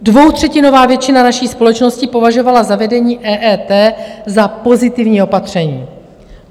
Dvoutřetinová většina naší společnosti považovala zavedení EET za pozitivní opatření.